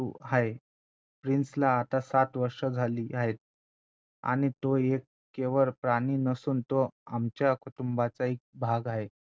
आहे प्रिन्सला आता सात वर्ष झाली आहेतआणि तो एक केवळ प्राणी नसून तो आमच्या कुटुंबाचा एक भाग आहे